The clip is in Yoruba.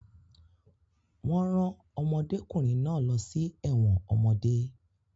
Wọ́n rán ọmọdékùnrin náà lọ sí ẹ̀wọ̀n ọmọdé